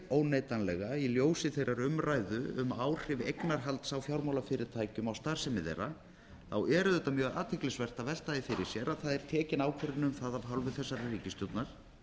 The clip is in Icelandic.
óneitanlega í ljósi þeirrar umræðu um áhrif eignarhalds á fjármálafyrirtækjum og starfsemi þeirra þá er auðvitað mjög athyglisvert að velta því fyrir sér að tekin er ákvörðun um af hálfu þessarar ríkisstjórnar